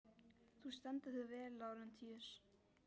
Þú stendur þig vel, Lárentíus!